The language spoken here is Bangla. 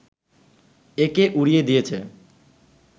একে উড়িয়ে দিয়েছে